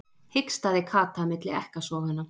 hikstaði Kata milli ekkasoganna.